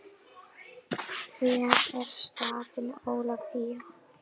Hver er staðan Ólafía?